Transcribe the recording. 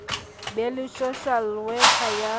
be le social worker ya